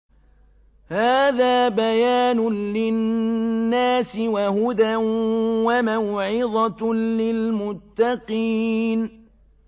هَٰذَا بَيَانٌ لِّلنَّاسِ وَهُدًى وَمَوْعِظَةٌ لِّلْمُتَّقِينَ